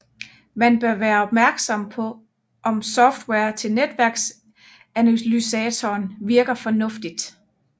Man bør være opmærksom på om softwaren til netværksanalysatoren virker fornuftigt